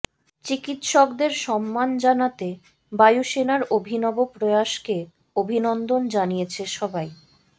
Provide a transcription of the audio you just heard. চিকিৎসকদের সম্মান জানাতে বায়ুসেনার অভিনব প্রয়াসকে অভিনন্দন জানিয়েছে সবাই